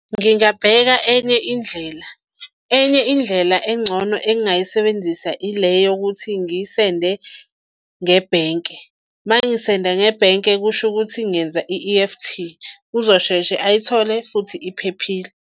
Ngingabheka enye indlela, enye indlela engcono engingayisebenzisa ile yokuthi ngiyisende ngebhenke. Mangisenda ngebhenke kusho ukuthi ngenze i-E_F_T, uzosheshe ayithole futhi iphephile.